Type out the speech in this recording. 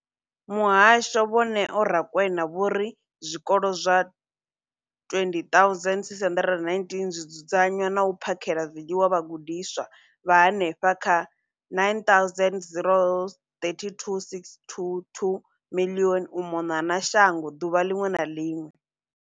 Muhasho, Vho Neo Rakwena, vho ri zwikolo zwa 20 619 zwi dzudzanya na u phakhela zwiḽiwa vhagudiswa vha henefha kha 9 032 622 u mona na shango ḓuvha ḽiṅwe na ḽiṅwe.